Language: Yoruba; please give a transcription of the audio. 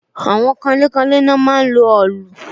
Àwọn kanlé kanlé ni wọ́n máa ń lo òòlù